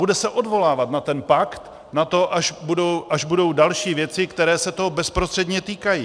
Bude se odvolávat na ten pakt, na to, až budou další věci, které se toho bezprostředně týkají.